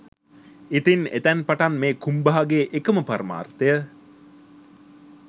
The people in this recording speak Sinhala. ඉතින් එතැන් පටන් මේ කුම්බාගේ එකම පරමාර්ථය